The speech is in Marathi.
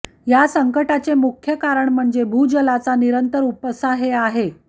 या संकटाचे मुख्य कारण म्हणजे भूजलाचा निरंतर उपसा हे आहे